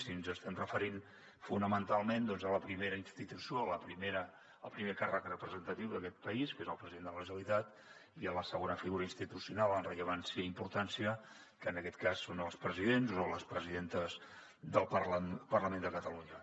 i ens estem referint fonamentalment doncs a la primera institució al primer càrrec representatiu d’aquest país que és el president de la generalitat i a la segona figura institucional en rellevància i importància que en aquest cas són els presidents o les presidentes del parlament de catalunya